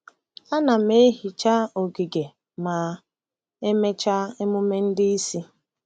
Ana m ehicha ogige ma emechaa emume ndị isi.